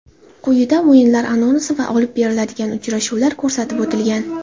Quyida o‘yinlar anonsi va olib beriladigan uchrashuvlar ko‘rsatib o‘tilgan.